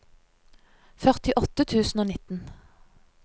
førtiåtte tusen og nitten